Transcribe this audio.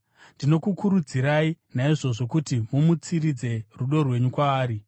Ndinokukurudzirai, naizvozvo, kuti mumutsiridze rudo rwenyu kwaari.